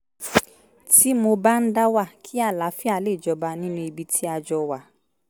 tí mo bá ń dá wà kí àlàáfíà lè jọba nínú ibi tí a jọ wà